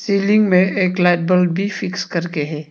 Ceiling में एक light bulb भी फिक्स करके है।